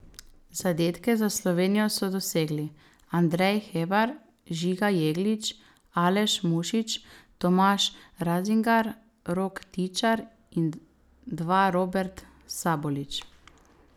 Zadetke za Slovenijo so dosegli Andrej Hebar, Žiga Jeglič, Aleš Mušič, Tomaž Razingar, Rok Tičar in dva Robert Sabolič.